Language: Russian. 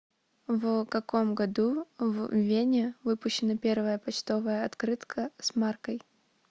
в каком году в вене выпущена первая почтовая открытка с маркой